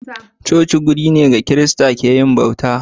Coci wuri ne da kirista ke yin bauta.